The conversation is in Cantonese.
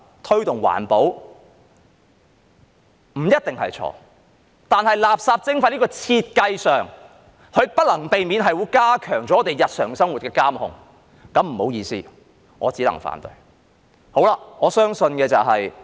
推動環保不一定是錯，但垃圾徵費在設計上是不能避免會加強對我們日常生活的監控，那便不好意思，我只能反對。